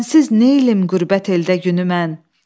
Sənsiz neyləyim qürbət eldə günü mən.